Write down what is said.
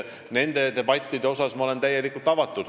Nendele debattidele olen ma täielikult avatud.